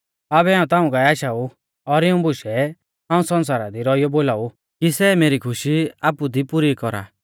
आबै हाऊं ताऊं काऐ आशाऊ और इऊं बुशै हाऊं सण्सारा दी रौइयौ बोलाऊ कि सै मेरी खुशी आपु दी पुरी कौरा